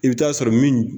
I bɛ taa sɔrɔ min